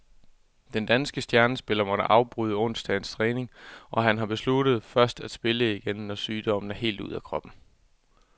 Den danske stjernespiller måtte afbryde onsdagens træning, og han har besluttet først at spille igen, når sygdommen er helt ude af kroppen.